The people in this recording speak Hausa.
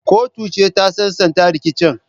Kotu ce ta sasanta rikicin.